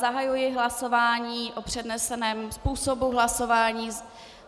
Zahajuji hlasování o předneseném způsobu hlasování.